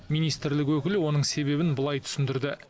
министрлік өкілі оның себебін былай түсіндірді